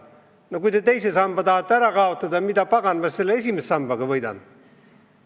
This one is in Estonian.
No kui te teise samba tahate ära kaotada, mida paganat ma siis esimese samba muudatusega võidan?